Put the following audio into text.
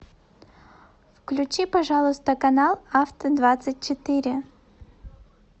включи пожалуйста канал авто двадцать четыре